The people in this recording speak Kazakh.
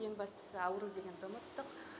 ең бастысы ауру дегенді ұмыттық